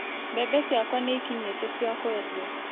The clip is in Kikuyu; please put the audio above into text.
Mbembe ciakwa ni ikinyĩte ciakwendio